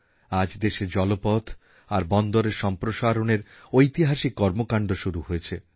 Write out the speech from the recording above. আজ দেশে জলপথ আর বন্দরের সম্প্রসারণের ঐতিহাসিক কর্মকাণ্ড শুরু হয়েছে